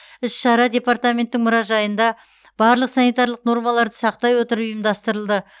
іс шара департаменттің мұражайында барлық санитарлық нормаларды сақтай отырып ұйымдастырылды